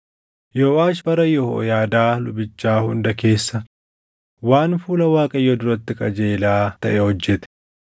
Yooʼaash bara Yehooyaadaa lubichaa hunda keessa waan fuula Waaqayyoo duratti qajeelaa taʼe hojjete.